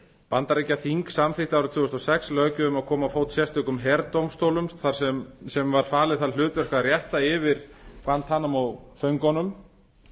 bandaríkjaþing samþykkti árið tvö þúsund og sex löggjöf um að koma á fót sérstökum herdómstólum sem var falið það hlutverk að rétta yfir guantanamo föngunum